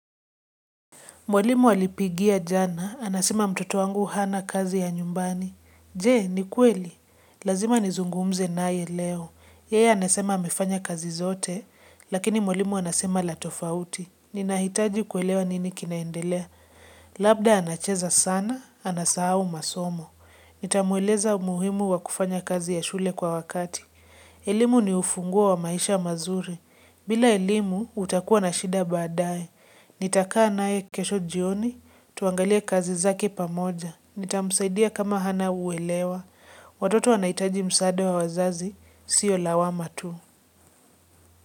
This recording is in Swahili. Mwalimu alipigia jana, anasema mtoto wangu hana kazi ya nyumbani. Je, ni kweli? Lazima nizungumze naye leo. Yeye anasema amefanya kazi zote, lakini mwalimu anasema la tofauti. Ninahitaji kuelewa nini kinaendelea. Labda anacheza sana, anasahau masomo. Nitamueleza umuhimu wa kufanya kazi ya shule kwa wakati. Elimu ni ufunguo wa maisha mazuri. Bila elimu, utakuwa na shida baadaye. Nitakaa naye kesho jioni, tuangalie kazi zake pamoja, nitamsaidia kama hana uelewa, watoto wanahitaji msaada wa wazazi, sio lawama tu.